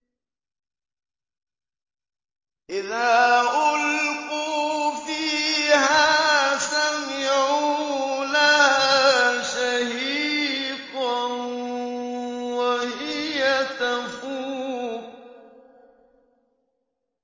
إِذَا أُلْقُوا فِيهَا سَمِعُوا لَهَا شَهِيقًا وَهِيَ تَفُورُ